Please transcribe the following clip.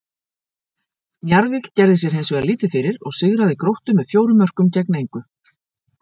Njarðvík gerði sér hins vegar lítið fyrir og sigraði Gróttu með fjórum mörkum gegn engu.